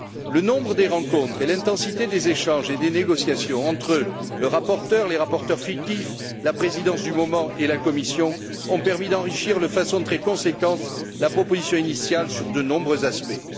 Le nombre des rencontres et l'intensité des échanges et des négociations entre le rapporteur, les rapporteurs fictifs, la Présidence du moment et la Commission ont permis d'enrichir de façon très conséquente la proposition initiale sur de nombreux aspects.